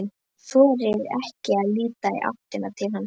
Þorir ekki að líta í áttina til hans.